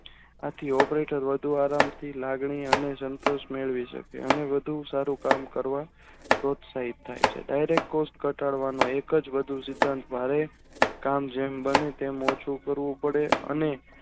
આથી operator વધુ આરામથી લાગણી અને સંતુષ મેળવી છે અને વધુ સારુકામ કરવા સહીત થઈ છે direct course ઘટાડવા ની એક જ વધુ ટાર ભાવે કામ જેમ બને તેમ ઓછું કરવું પડે અને